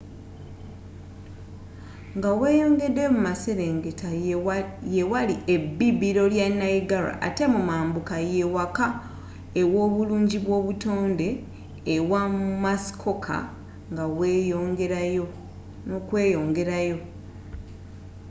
nga weeyongeddeyo mu maserengeta ye wali ebibiro lya niagara ate mu mambuka ye waka ew'obulungi bw'obutonde ewa muskoka n'okweyongerayo